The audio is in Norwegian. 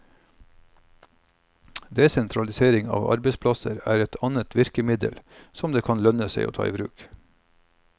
Desentralisering av arbeidsplasser er et annet virkemiddel som det kan lønne seg å ta i bruk.